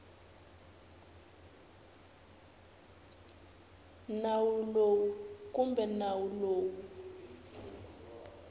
nawu lowu kumbe nawu lowu